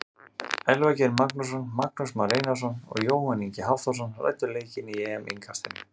Elvar Geir Magnússon, Magnús Már Einarsson og Jóhann Ingi Hafþórsson ræddu leikinn í EM innkastinu.